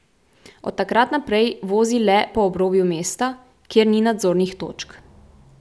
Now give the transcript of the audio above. Od takrat naprej vozi le po obrobju mesta, kjer ni nadzornih točk.